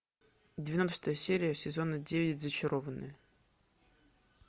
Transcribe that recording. двенадцатая серия сезона девять зачарованные